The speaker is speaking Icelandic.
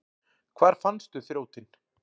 Hvar fannstu þrjótinn?